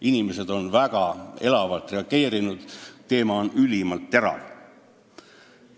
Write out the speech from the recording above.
Inimesed on väga elavalt reageerinud, teema on ülimalt terav.